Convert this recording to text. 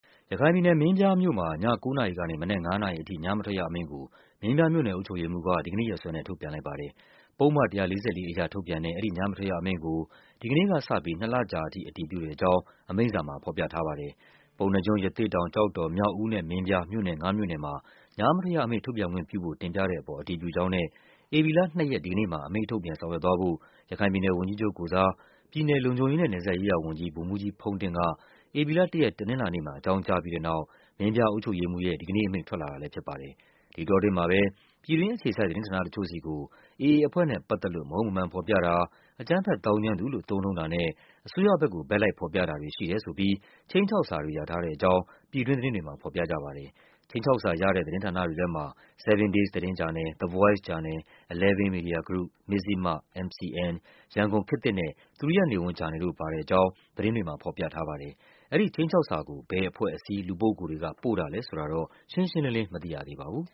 ရခိုင်ပြည်နယ်၊ မင်းပြားမြို့မှာ ည ၉ နာရီကနေ မနက် ၅ နာရီအထိ ညမထွက်ရအမိန့်ကို မင်းပြားမြို့နယ်အုပ်ချုပ်ရေးမှူးက ဒီကနေ့ရက်စွဲနဲ့ ထုတ်ပြန်လိုက်ပါတယ်။ ပုဒ်မ ၁၄၄ အရထုတ်ပြန်တဲ့ အဲဒီ ညမထွက်ရအမိန့်ကို ဒီကနေ့ကစပြီး ၂ လကြာထိ အတည်ဖြစ်တဲ့အကြောင်း အမိန့်စာမှာ ဖော်ပြ ထားပါတယ်။ ပုဏ္ဏားကျွန်း၊ ရသေ့တောင်၊ ကျောက်တော်၊ မြောက်ဦးနဲ့ မင်းပြား မြို့နယ်ငါးမြို့နယ်မှာ ညမထွက်ရအမိန့် ထုတ်ပြန်ခွင့်ပြုဖို့ တင်ပြ တဲ့အပေါ် အတည်ပြုကြောင်းနဲ့ ဧပြီလ ၂ ရက် ဒီကနေ့မှာ အမိန့်ထုတ်ပြန် ဆောင်ရွက်သွားဖို့ ရခိုင်ပြည်နယ် ဝန်ကြီးချုပ်ကိုယ်စား ပြည်နယ် လုံခြုံရေးနဲ့ နယ်စပ်ရေးရာဝန်ကြီး ဗိုလ်မှူးကြီးဖုန်းတင့်က ဧပြီလ ၁ ရက် တနင်္လာနေ့မှာ အကြောင်းကြားပြီးတဲ့နောက် မင်းပြားအုပ်ချုပ်ရေးမှူးရဲ့ ဒီကနေ့အမိန့် ထွက်လာတာလည်းဖြစ်ပါတယ်။ ဒီအတောအတွင်းမှာပဲ ပြည်တွင်းအခြေစိုက် သတင်းဌာနတချို့ဆီကို AA အဖွဲ့နဲ့ပတ်သက်လို့ မဟုတ်မမှန်ဖော်ပြတာ၊ အကြမ်းဖက် သောင်းကျန်းသူလို့ သုံးနှုှုန်းတာနဲ့ အစိုးရဘက်ကို ဘက်လိုက်ဖော်ပြတာတွေ ရှိတယ်ဆိုပြီး ခြိမ်းခြောက်စာတွေ ရထားတဲ့ အကြောင်း ပြည်တွင်းသတင်းတွေမှာ ဖော်ပြနေကြပါတယ်။ ခြိမ်းခြောက်စာရတဲ့ သတင်းဌာနတွေထဲမှာ 7 Days သတင်းဂျာနယ်၊ The Voice ဂျာနယ်၊ Eleven Media Group ၊ Mizzima ၊ MCN ၊ ရန်ကုန်ခေတ်သစ်နဲ့ သူရိယနေဝန်းဂျာနယ်တို့ ပါတဲ့အကြောင်း သတင်းတွေမှာ ဖော်ပြထားပါတယ်။ အဲဒီခြိမ်းခြောက်စာကို ဘယ်အဖွဲ့အစည်း၊ လူပုဂ္ဂိုလ်တွေက ပို့တာလဲဆိုတာတော့ ရှင်းရှင်းလင်းလင်း မသိရသေးပါဘူး